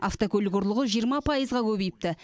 автокөлік ұрлығы жиырма пайызға көбейіпті